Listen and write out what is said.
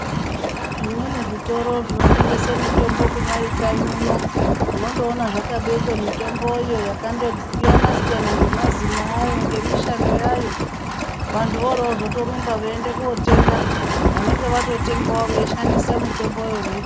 Zvimweni zvitoro zvinotengese mitombo kunyari kanyi uno, unondoona zvakabekwa mitomboyo yakandosiyana-siyana nemazina ayo ngemishando yayo. Vantu oro votozorumba veiende kotenga vanonge vatotengavo veishandisa mitombo yo vei......